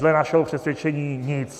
Dle našeho přesvědčení nic.